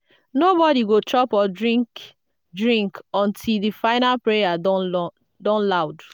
nobody go chop or drink drink until di final prayer don loud.